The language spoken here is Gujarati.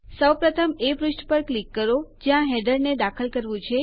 સૌ પ્રથમ એ પુષ્ઠ પર ક્લિક કરો જ્યાં હેડરને દાખલ કરવું છે